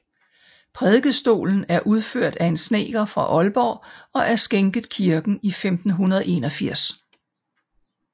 Prædikestolen er udført af en snedker fra Aalborg og er skænket kirken i 1581